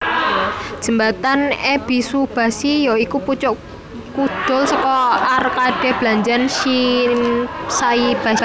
Jembatan Ebisubashi ya iku pucuk kudul saka arkade blanjan Shinsaibashi